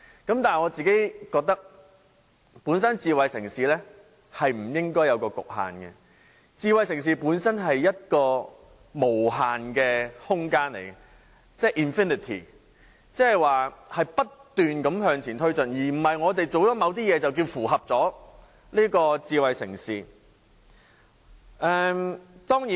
但是，我覺得智慧城市本身不應有所局限，智慧城市本身是一個無限的空間，即不斷向前推進，而不是我們做了某些事情便認為已經符合智慧城市的條件。